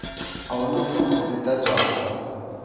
a huna fomo dzi ḓ adzwaho